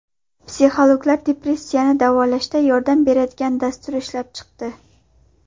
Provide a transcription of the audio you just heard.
Psixologlar depressiyani davolashda yordam beradigan dastur ishlab chiqdi.